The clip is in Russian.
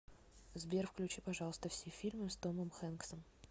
сбер включи пожалуйста все фильмы с томом хэнксом